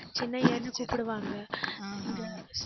சின்னையான்னு கூப்பிடுவாங்க இங்க